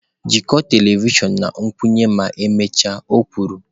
“Jikọọ telivishọn na nkwụnye ma emechaa”,o kwuru.